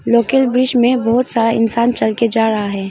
Local bridge में बहुत सारा इंसान चल के जा रहा है।